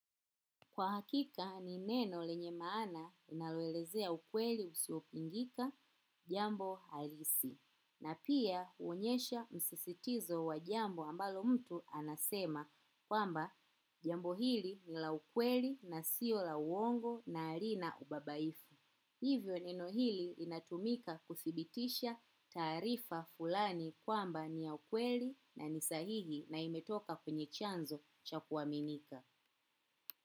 Kwa hakika ni neno lenye maana linaloelezea ukweli usiopingika jambo halisi. Na pia huonyesha msisitizo wa jambo ambalo mtu anasema kwamba jambo hili nila ukweli na sio la uongo na halina ubabaifu. Hivyo neno hili linatumika kudhibitisha taarifa fulani kwamba ni ya ukweli na ni sahihi na imetoka kwenye chanzo cha kuaminika.